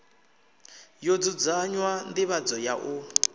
ḓo dzudzanya nḓivhadzo ya u